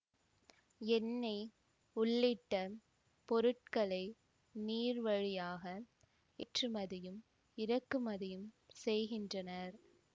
எண்ணெய் உள்ளிட்ட பொருட்களை நீர்வழியாக ஏற்றுமதியும் இறக்குமதியும் செய்கின்றனர்